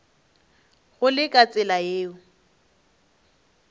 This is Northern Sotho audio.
go le ka tsela yeo